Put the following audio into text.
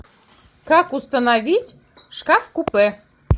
как установить шкаф купе